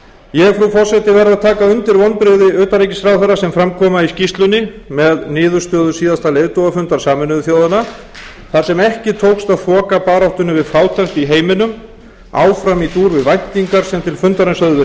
ég frú forseti verð að taka undir vonbrigði utanríkisráðherra sem fram koma í skýrslunni með niðurstöður síðasta leiðtogafundar sameinuðu þjóðanna þar sem ekki tókst að þoka baráttunni við fátækt í heiminum áfram í dúr við væntingar sem til fundarins höfðu verið